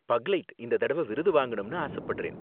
பக்லைட் இந்த தடவ விருது வாங்கணும்னு ஆசப்படுறேன்.